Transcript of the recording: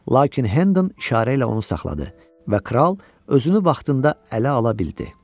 Lakin Hədan işarə ilə onu saxladı və kral özünü vaxtında ələ ala bildi.